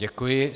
Děkuji.